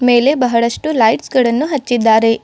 ಮೇಲೆ ಬಹಳಷ್ಟು ಲೈಟ್ಸ್ ಗಳನ್ನು ಹಚ್ಚಿದ್ದಾರೆ.